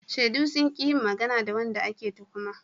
Shaidu sun ƙi yin magana da wanda ake tuhuma.